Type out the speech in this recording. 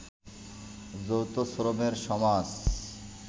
যৌথ শ্রমের সমাজ